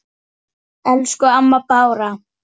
Elsku amma Bára.